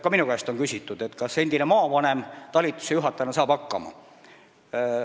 Ka minu käest on küsitud, kas endine maavanem saab talitusejuhatajana hakkama.